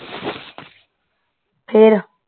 ਫੇਰ